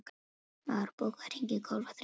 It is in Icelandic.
Már, bókaðu hring í golf á þriðjudaginn.